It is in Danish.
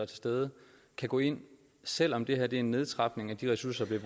til stede kan gå ind selv om det her er en nedtrapning af de ressourcer